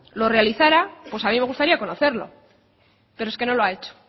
lo realizara pues a mí me gustaría conocerlo pero es que no lo ha hecho